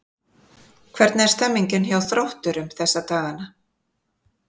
Hvernig er stemningin hjá Þrótturum þessa dagana?